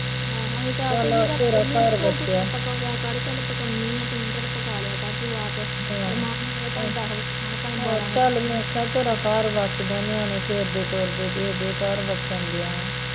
ਤੂੰ ਪਕਾ ਲਿਆ ਕਰ ਚੱਲ ਪਕਾਉਂਦੀ ਐ ਤੂੰ ਚੱਲ ਪਕਾ ਲਿਆ ਕਰ ਤੂੰ ਆਪ, ਆਪ ਦੱਸ ਵਜੇ ਖਾਣਾ ਚਾਹੇ ਬਾਰਾਂ ਵਜੇ ਖਾਣ